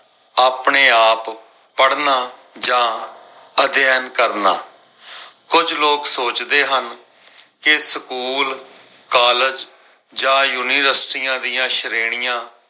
ਵਾਧੂ ਪੜਨ ਦੀ ਆਦਤ ਵੀ ਪਾਉਣ। ਸਵੈ ਅਧਿਐਨ ਜੀਵਨ ਜਾਚ ਦਾ ਇੱਕ ਮਹੱਤਵਪੂਰਨ ਅੰਗ ਹੈ। ਸਵੈ ਅਧਿਐਨ ਦਾ ਅਰਥ ਹੈ